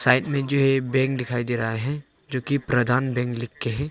जो ये बैंक दिखाई दे रहा है जो की प्रधान बैंक लिख के है।